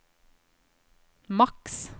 maks